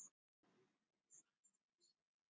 Arnfríður, hvað er í matinn?